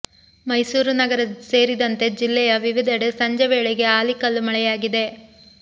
ಮೈಸೂರು ನಗರ ಸೇರಿದಂತೆ ಜಿಲ್ಲೆಯ ವಿವಿಧೆಡೆ ಸಂಜೆ ವೇಳೆಗೆ ಆಲಿಕಲ್ಲು ಮಳೆಯಾಗಿದೆ